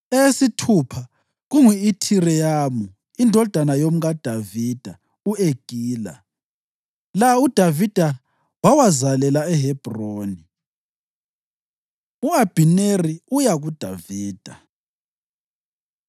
eyesithupha kungu-Ithireyamu indodana yomkaDavida u-Egila. La uDavida wawazalela eHebhroni. U-Abhineri Uya KuDavida